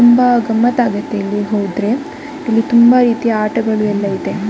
ತುಂಬಾ ಗಮ್ಮತ್ ಆಗುತ್ತೆ ಇಲ್ಲಿ ಹೋದ್ರೆ ಇಲ್ಲಿ ತುಂಬಾ ರೀತಿಯ ಆಟಗಳು ಎಲ್ಲ ಇದೆ .]